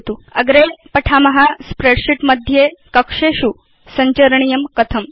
अग्रे वयं पठिष्याम स्प्रेडशीट् मध्ये कक्षेषु सञ्चरणं कथं करणीयमिति